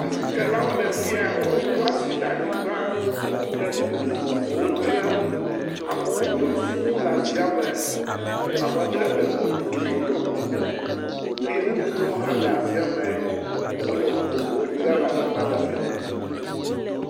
Asitsalawo le fi ya, woɖo asi ɖe anyigba, le nu vovovowo dzram, amewo yɔ fũu le asiame. Ame ɖe le moto dzi ɖɔ kuku, eye ŋutsu ɖewo hã le asieme wole nu vovovowo dzram le asiame.